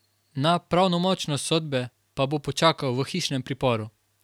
Na pravnomočnost sodbe pa bo počakal v hišnem priporu.